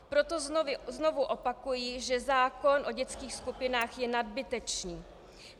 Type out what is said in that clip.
Proto znovu opakuji, že zákon o dětských skupinách je nadbytečný.